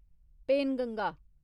Penganga